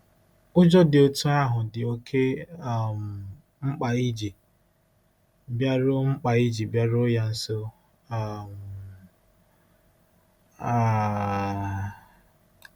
Ụjọ dị otú ahụ dị oké um mkpa iji bịaruo mkpa iji bịaruo ya nso um. um